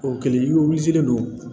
O kɛlen i don